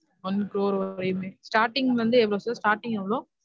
one crore வரையுமே starting வந்து எவ்ளொ sir starting எவ்ளொ